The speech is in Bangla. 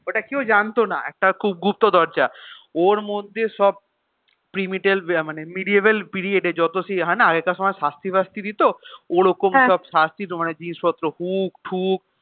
ওটা কেউ জানত না খুব গুপ্ত দরজা ওর মধ্যে সব প্রিমিটেল মানে medieval period এ যত সেই হয়না আগেকার সময় সাস্তি ফাস্তি দিত, ওরকম সব শাস্তি দেবতারই জিনিস পত্র হুক ফুক